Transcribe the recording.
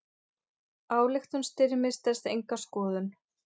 Ályktun Styrmis stenst enga skoðun.